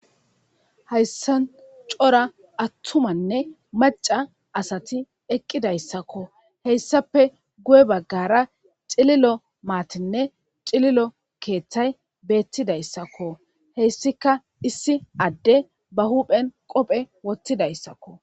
Hayssan cora attumanne macca asati eqqidayssakko. Hessappe guye baggara cililo maatinne cililo keethay beettidayssakko. Hessika issi adde ba huuphen qophe wothizayssakko.